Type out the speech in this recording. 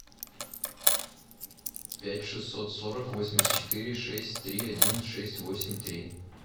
пять шестьсот сорок восемьдесят четыре шесть три один шесть восемь три